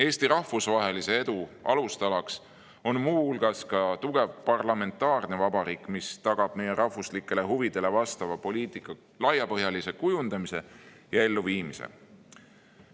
Eesti rahvusvahelise edu alustala on muu hulgas tugev parlamentaarne vabariik, mis tagab meie rahvuslikele huvidele vastava poliitika laiapõhjalise kujundamise ja elluviimise.